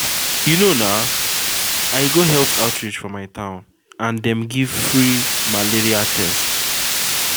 you know na i go health outreach for my town and dem give me free malaria test.